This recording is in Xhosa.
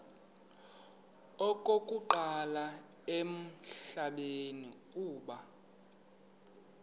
okokuqala emhlabeni uba